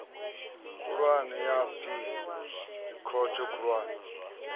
khulwane ya aphili dzikhothe khulwane